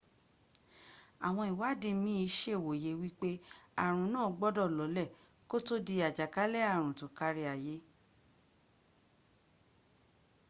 àwọn ìwádí mín sèwòye wípé àrùn náà gbọ́dọ̀ lọlẹ̀ kó tó di àjàkálẹ̀ àrùn tó kárí ayé